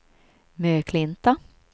Möklinta